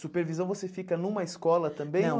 Supervisão, você fica numa escola também? Não.